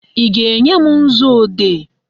Ị ga-enye m nzuodee?